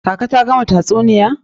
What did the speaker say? Kaka ta gama tatsuniya.